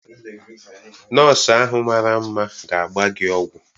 Nọọsụ ahụ mara mma ga-agba gị ọgwụ.